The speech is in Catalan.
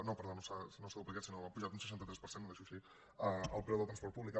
no perdó no s’ha duplicat sinó que ha pujat un seixanta tres per cent ho deixo així el preu del transport públic